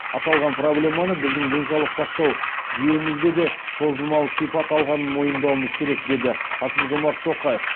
аталған проблеманы біздің денсаулық сақтау жүйемізде де созылмалы сипат алғанын мойындауымыз керек деді қасым жомарт тоқаев